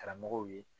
Karamɔgɔw ye